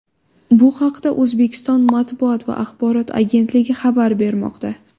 Bu haqda O‘zbekiston Matbuot va axborot agentligi xabar bermoqda.